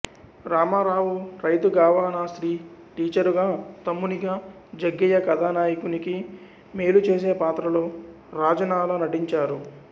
రామరావు రైతుగావాణిశ్రీ టీచరుగా తమ్మునిగా జగ్గయ్య కథానాయకునికి మేలు చేసే పాత్రలో రాజనాల నటించారు